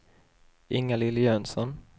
Inga-Lill Jönsson